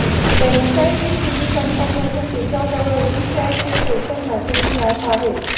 Tencent ही चिनी company असून तिच्याजवळ वीचॅट हे सोशल मॅसेजिंग ऍप आहे